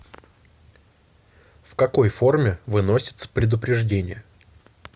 в какой форме выносится предупреждение